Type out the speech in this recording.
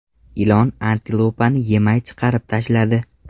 Ilon antilopani yemay chiqarib tashladi .